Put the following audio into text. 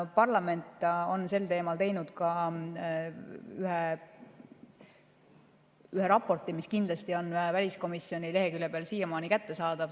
Parlament on sel teemal teinud ka ühe raporti, mis on kindlasti väliskomisjoni leheküljel siiamaani kättesaadav.